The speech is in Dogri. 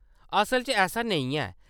असल च ऐसा नेईं ऐ।